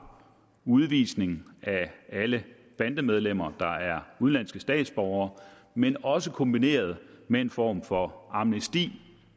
udvisning af alle bandemedlemmer der er udenlandske statsborgere men også kombineres med en form for amnesti